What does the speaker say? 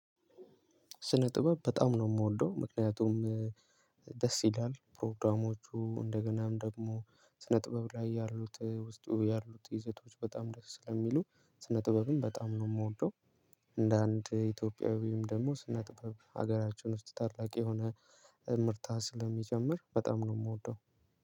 ስነ ጥበብ በጣም ነው የምወደው። ምክንያቱም ደስ ይላል። ፕሮግራሞቹ እንደገናም ደግሞ ስነ ጥበብ ላይ ያሉት ውስጥ ያሉት ይዘቶች በጣም ደስ ስለሚሉ ስነ ጥበብን በጣም ነው የምወደው። እንደ አንድ ኢትዮጵያዊም ደግሞ ስነ ጥበብ ሀገራችን ውስጥ ታላቅ የሆነ እምርታ ስለሚጨምር በጣም ነው የምወደው።